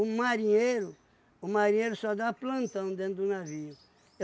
marinheiro, o marinheiro só dá plantão dentro do navio.